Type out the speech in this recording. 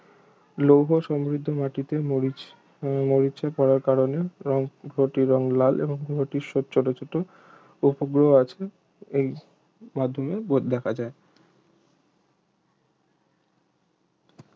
লৌহ সমৃদ্ধ মাটিতে মরিচ মরিচা পড়ার কারণেই গ্রহটির রং লাল এবং গ্রহটির সব ছোট ছোট উপগ্রহ আছে এই মধ্যমেই দেখা যায়